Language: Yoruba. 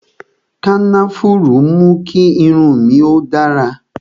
Kànáfùrú mú kí irun mi ó dára